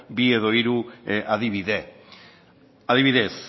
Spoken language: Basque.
bi edo hiru adibide adibidez